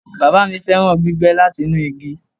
Baba mi fẹran gbígbẹ lati inu igi